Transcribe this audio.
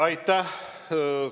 Aitäh!